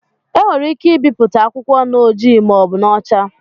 E nwere ike ibipụta akwụkwọ n'ojii ma ọ bụ n'ọcha.